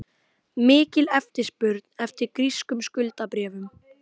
Mikil eftirspurn eftir grískum skuldabréfum